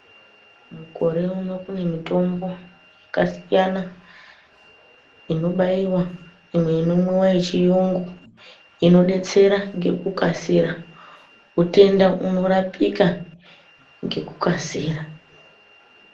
Mukure uno kune mitombo yakasiyana inobaiwa imwe inomwiwa yechirungu inodetsera ngekukasira utenda unorapika ngekukasira.